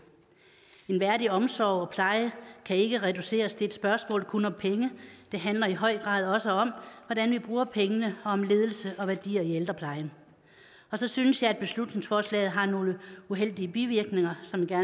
en værdig omsorg og pleje kan ikke reduceres til et spørgsmål kun om penge det handler i høj grad også om hvordan vi bruger pengene og om ledelse og værdier i ældreplejen og så synes jeg at beslutningsforslaget har nogle uheldige bivirkninger som jeg